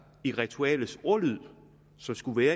i ritualets ordlyd